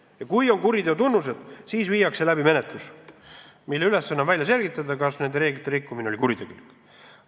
Ja kui on kuriteotunnused, siis viiakse läbi menetlus, mille ülesanne on välja selgitada, kas reeglite rikkumine oli kuritegelik.